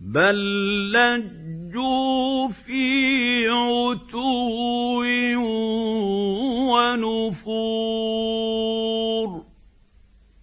بَل لَّجُّوا فِي عُتُوٍّ وَنُفُورٍ